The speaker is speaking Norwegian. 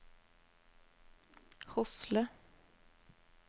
Hosle